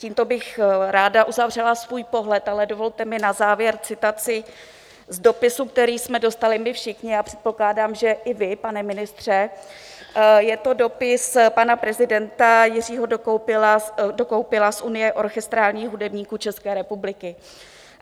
Tímto bych ráda uzavřela svůj pohled, ale dovolte mi na závěr citaci z dopisu, který jsme dostali my všichni, já předpokládám, že i vy, pane ministře, je to dopis pana prezidenta Jiřího Dokoupila z Unie orchestrálních hudebníků České republiky.